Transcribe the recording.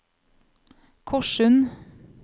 Korssund